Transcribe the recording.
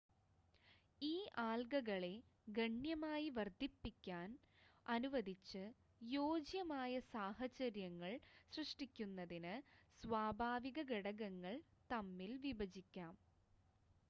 ഈ ആൽഗകളെ ഗണ്യമായി വർദ്ധിപ്പിക്കാൻ അനുവദിച്ച് യോജ്യമായ സാഹചര്യങ്ങൾ സൃഷ്ടിക്കുന്നതിന് സ്വാഭാവിക ഘടകങ്ങൾ തമ്മിൽ വിഭജിക്കാം